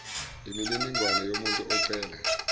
imininingwane yomuntu ocela